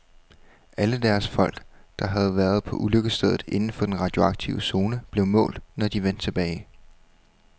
Alle deres folk, der havde været på ulykkesstedet inden for den radioaktive zone, blev målt, når de vendte tilbage.